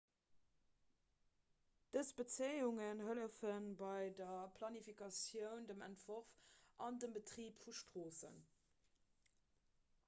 dës bezéiungen hëllefe bei der planifikatioun dem entworf an dem betrib vu stroossen